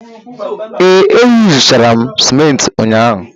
Ee, eyuzuchara m simenti ụnyaahụ.